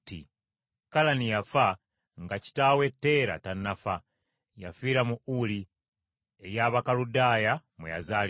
Kalani yafa nga kitaawe Teera tannafa. Yafiira mu Uli ey’Abakaludaaya mwe yazaalirwa.